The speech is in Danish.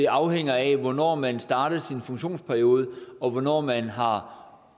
afhænger af hvornår man startede sin funktionsperiode og hvornår man har